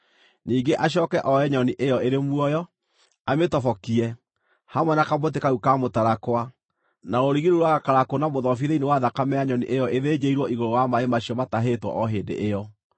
Ningĩ acooke oe nyoni ĩyo ĩrĩ muoyo, amĩtobokie, hamwe na kamũtĩ kau ka mũtarakwa, na rũrigi rũu rwa gakarakũ na mũthobi thĩinĩ wa thakame ya nyoni ĩyo ĩthĩnjĩirwo igũrũ wa maaĩ macio matahĩtwo o hĩndĩ ĩyo.